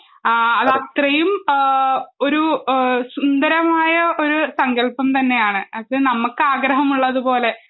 ആ അതത്രയും ആ ഒരു ഏഹ് സുന്ദരമായ ഒരു സങ്കല്പം തന്നെയാണ് അത് നമ്മൾക്കാഗ്രഹം ഉള്ളതുപോലെ